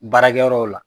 Baarakɛyɔrɔw la